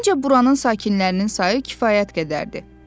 Məncə buranın sakinlərinin sayı kifayət qədərdir.